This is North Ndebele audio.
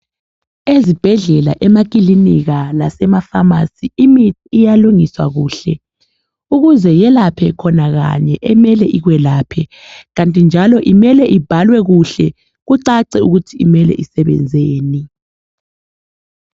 Ezibhedlela, emakilika lasemafamasi imithi iyalungiswa kuhle ukuze yelaphe khona kanye emele ikwelaphe, kanti njalo imele ibhalwe kuhle kucace ikuthi imele isebenzeni.